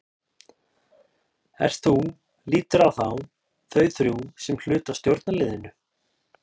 Ert þú, líturðu á þá, þau þrjú sem hluta af stjórnarliðinu?